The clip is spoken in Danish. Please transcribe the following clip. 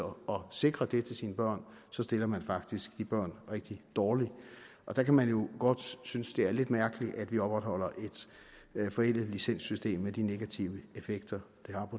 sikre det til sine børn så stiller man faktisk de børn rigtig dårligt og der kan man jo godt synes at det er lidt mærkeligt at vi opretholder et forældet licenssystem med de negative effekter